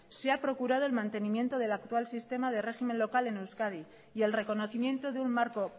se ha procurado el mantenimiento del actual sistema de régimen local en euskadi y el reconocimiento de un marco